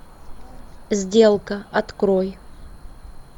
сделка открой